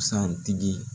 Busan tigi